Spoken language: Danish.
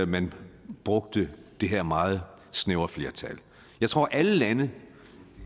man brugte det her meget snævre flertal jeg tror at alle lande